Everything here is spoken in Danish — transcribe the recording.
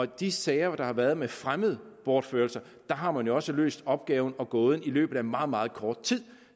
de sager der har været med fremmede bortførelser har man også løst opgaven og gåden i løbet af meget meget kort tid